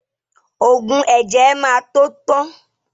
Ògùn ẹ̀jẹ̀ ẹ má tó tán